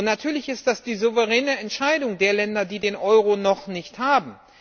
Natürlich ist das die souveräne Entscheidung der Länder, die den Euro noch nicht haben.